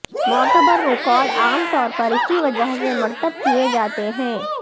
معتبر ریکارڈ عام طور پر اسی وجہ سے مرتب کیے جاتے ہیں